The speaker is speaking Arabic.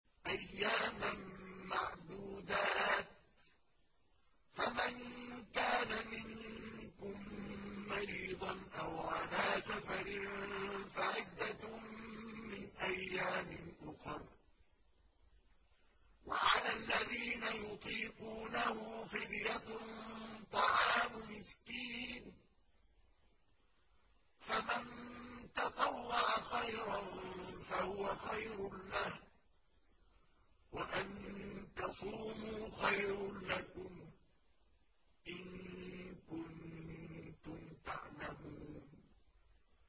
أَيَّامًا مَّعْدُودَاتٍ ۚ فَمَن كَانَ مِنكُم مَّرِيضًا أَوْ عَلَىٰ سَفَرٍ فَعِدَّةٌ مِّنْ أَيَّامٍ أُخَرَ ۚ وَعَلَى الَّذِينَ يُطِيقُونَهُ فِدْيَةٌ طَعَامُ مِسْكِينٍ ۖ فَمَن تَطَوَّعَ خَيْرًا فَهُوَ خَيْرٌ لَّهُ ۚ وَأَن تَصُومُوا خَيْرٌ لَّكُمْ ۖ إِن كُنتُمْ تَعْلَمُونَ